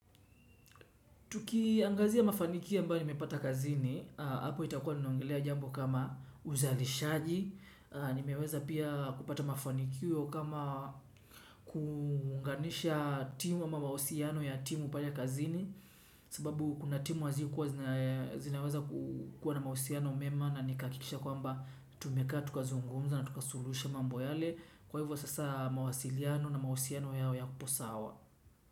Tukiangazia mafanikio ambao nimepata kazini, hapo itakua niongelea jambo kama uzalishaji, nimeweza pia kupata mafanikio kama kuunganisha timu ama mausiano ya timu pale kazini, sababu kuna timu hazikuwa zinaweza kukuwa na mausiano mema na nikakikisha kwamba tumekaa, tukazungumza na tukasulusha mambo yale, kwa hivyo sasa mawasiliano na mausiano yao yapo sawa.